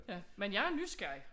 Ja men jeg er nysgerrig